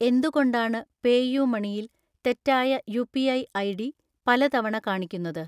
എന്തുകൊണ്ടാണ് പേയുമണി യിൽ തെറ്റായ യുപിഐ ഐഡി പല തവണ കാണിക്കുന്നത്?